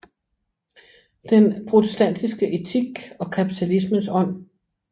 Den protestantiske Etik og Kapitalismens Ånd